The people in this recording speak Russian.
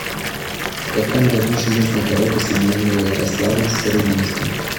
в каком году железная дорога соединила ярославль с рыбинском